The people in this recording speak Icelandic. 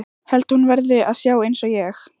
Held að hún verði að sjá einsog ég.